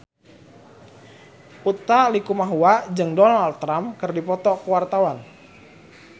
Utha Likumahua jeung Donald Trump keur dipoto ku wartawan